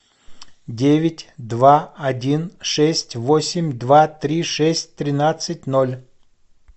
девять два один шесть восемь два три шесть тринадцать ноль